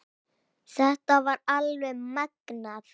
Þetta var alveg magnað!